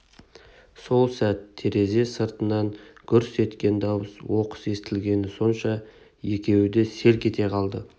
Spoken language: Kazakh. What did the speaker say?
сол сәт терезе сыртынан гүрс еткен дауыс оқыс естілгені сонша екеуі де селк ете қалды